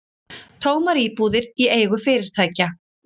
Tómar íbúðir í eigu fyrirtækja